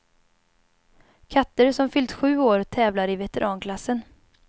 Katter som fyllt sju år tävlar i veteranklassen.